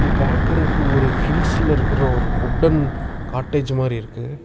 பாக்குறதுக்கு ஒரு ஹில்ஸ்ல இருக்குர ஒரு வுடன் கடஜ் மாரி இருக்கு.